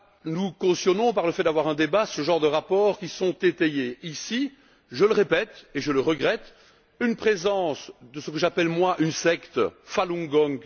Nous cautionnons, par le fait de tenir un débat, ce genre de rapports qui sont étayés ici je le répète et je le regrette par la présence de ce que j'appelle une secte Falun Gong.